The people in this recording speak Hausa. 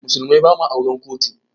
Mu musulmai ba ma auren kotu